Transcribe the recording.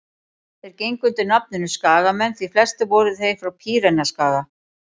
þeir gengu undir nafninu skagamenn því flestir voru þeir frá pýreneaskaga